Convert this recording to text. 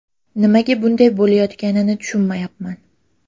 Nimaga bunday bo‘layotganini tushunmayapman.